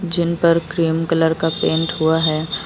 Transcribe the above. जिन पर cream colour का paint हुआ है।